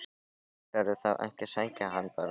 Ætlarðu þá ekki að sækja hana bara á